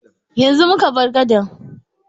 Yanzu muka bar gadan.